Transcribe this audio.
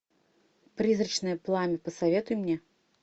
призрачное пламя посоветуй мне